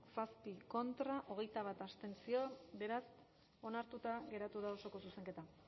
zazpi contra hogeita bat abstentzio beraz onartuta geratu da osoko zuzenketa